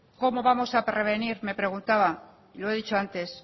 cómo vamos a prevenir me preguntaba lo he dicho antes